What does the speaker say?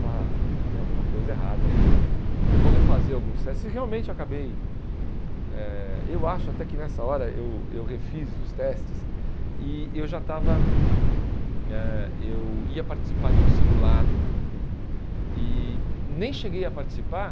está tem alguma coisa errada aí eu vou refazer alguns testes e realmente acabei eh eu acho até que nessa hora eu eu refiz os testes e eu já estava eh eu ia participar de um simulado e nem cheguei a participar